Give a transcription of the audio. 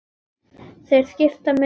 Þeir skipta mig engu.